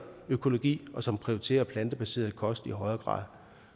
økologi og som prioriterer plantebaseret kost i højere grad